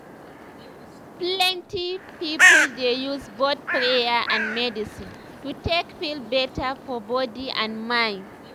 plenty people dey use both prayer and medicine to take feel better for body and mind.